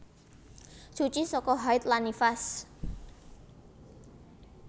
Suci saka haid lan nifas